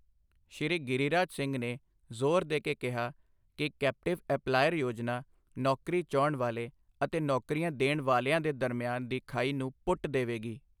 ਸ਼੍ਰੀ ਗਿਰੀਰਾਜ ਸਿੰਘ ਨੇ ਜ਼ੋਰ ਦੇ ਕੇ ਕਿਹਾ ਕਿ ਕੈਪਟਿਵ ਐਪਲਾਇਰ ਯੋਜਨਾ ਨੌਕਰੀ ਚਾਹੁੰਣ ਵਾਲੇ ਅਤੇ ਨੌਕਰੀਆਂ ਦੇਣ ਵਾਲੀਆਂ ਦੇ ਦਰਮਿਆਨ ਦੀ ਖਾਈ ਨੂੰ ਪੁੱਟ ਦੇਵੇਗੀ।